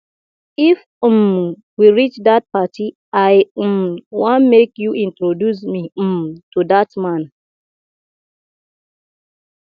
if um we reach dat party i um wan make you introduce me um to dat man